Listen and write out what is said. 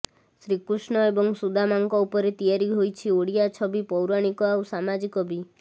ଶ୍ରୀକୃଷ୍ଣ ଏବଂ ସୁଦାମାଙ୍କ ଉପରେ ତିଆରି ହୋଇଛି ଓଡ଼ିଆ ଛବି ପୌରାଣିକ ଆଉ ସାମାଜିକ ବି